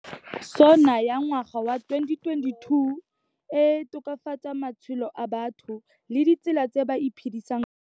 SoNA ya ngwaga wa 2022 e tokafatsa matshelo a batho le ditsela tse ba iphedisang ka tsona.